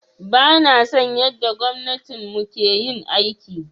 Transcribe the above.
Bana son yanda gwamnatin mu ke yin aiki.